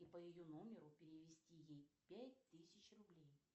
и по ее номеру перевести ей пять тысяч рублей